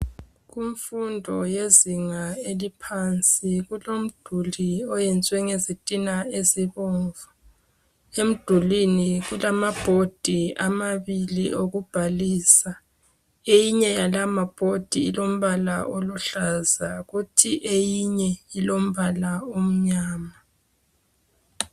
Kumfundo yezinga eliphansi kulomduli owenziwe ngezitina ezibomvu. Emdulwini kulama board amabili okubhalisa. Eyinye yala ma board ilombala oluhlaza, kuthi eyinye ilombala omnyama